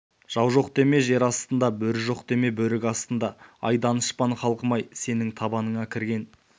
жау жоқ деме жар астында бөрі жоқ деме бөрік астында ай данышпан халқым-ай сенің табаныңа кірген